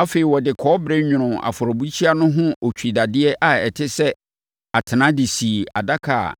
Afei, ɔde kɔbere nwonoo afɔrebukyia no ho otwidadeɛ a ɛte sɛ atena de sii adaka a